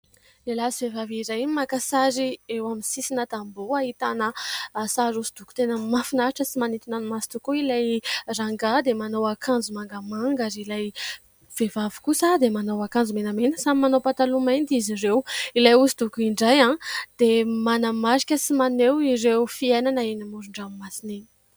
Lehilahy sy vehivavy iray no maka sary eo amin'ny sisina tamboho ahitana sary hosodoko tena mahafinaritra sy manintona ny maso tokoa : ilay rangahy dia manao akanjo mangamanga ary ilay vehivavy kosa dia manao akanjo menamena, samy manao pataloha mainty izy ireo. Ilay hosodoko indray dia manamarika sy maneho ireo fiainana eny moron-dranomasina eny.